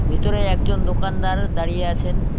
ভিতরে একজন দোকানদার দাঁড়িয়ে আছেন।